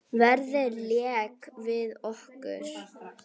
Veðrið lék við okkur.